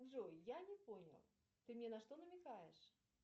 джой я не понял ты мне на что намекаешь